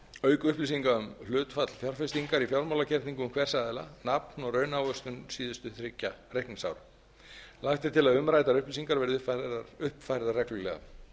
auk upplýsinga um hlutfall fjárfestingar í fjármálagerningum hvers aðila nafn og raunávöxtun síðustu þriggja reikningsára lagt er til að umræddar upplýsingar verði uppfærðar reglulega